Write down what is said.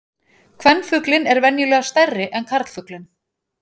Kvenfuglinn er venjulega stærri en karlfuglinn.